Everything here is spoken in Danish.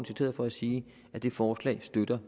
citeret for at sige at det forslag støtter